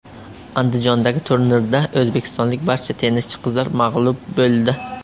Andijondagi turnirda o‘zbekistonlik barcha tennischi qizlar mag‘lub bo‘ldi.